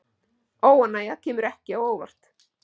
Óánægja kemur ekki á óvart